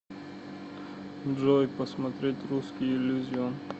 джой посмотреть русский иллюзион